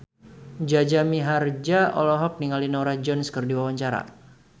Jaja Mihardja olohok ningali Norah Jones keur diwawancara